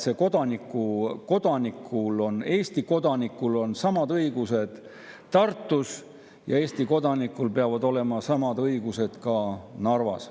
Ma arvan, et Eesti kodanikul on õigused Tartus ja Eesti kodanikul peavad olema samad õigused ka Narvas.